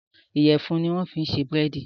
Iyẹ̀fun ni wọ́n fi ṣe búrèdì